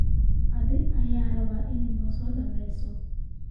Adhiga aya raba ina nasodobeyso.